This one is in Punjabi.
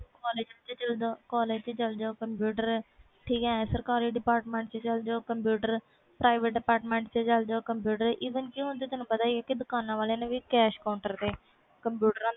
ਵਿਚ ਚਲ ਜੋ ਕੰਪਿਊਟਰ ਸਰਕਾਰੀ department ਵਿਚ ਚਲ ਜੋ ਕੰਪਿਊਟਰ private department ਚ ਚਲ ਜੋ even ਤੈਨੂੰ ਪਤਾ ਹੀ ਵ ਦੁਕਾਨਾਂ ਵਾਲਿਆਂ ਨੇ ਵੀ cash counter